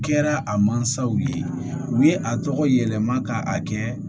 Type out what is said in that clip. Kɛra a mansaw ye u ye a tɔgɔ yɛlɛma ka a kɛ